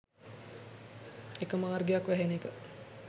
එක මාර්ගයක් වැහෙන එක.